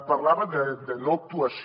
parlava de no actuació